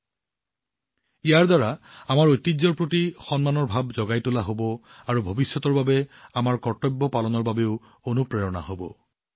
ইয়াৰ দ্বাৰা আমাৰ মনত আমাৰ ঐতিহ্যৰ প্ৰতি গৌৰৱৰ ভাৱো জগাই তুলিব আৰু ভৱিষ্যতৰ বাবে আমাৰ কৰ্তব্য পালন কৰিবলৈও অনুপ্ৰাণিত হব